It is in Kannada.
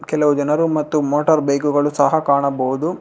ಕೆಲವು ಜನರ ಮತ್ತು ಮೋಟಾರ್ ಬೈಕ್ ಸಹ ಕಾಣಬಹುದು.